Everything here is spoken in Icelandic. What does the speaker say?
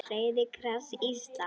Rauði kross Íslands